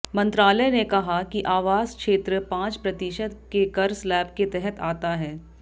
मंत्रालय ने कहा कि आवास क्षेत्र पांच प्रतिशत के कर स्लैब के तहत आता है